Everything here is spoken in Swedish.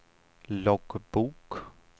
loggbok